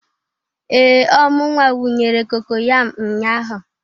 Ee! Ọ mụnwa wunyere cocoyam nnya ahụ.